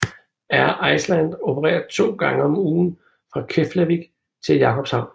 Air Iceland opererer to gange om ugen fra Keflavík til Jakobshavn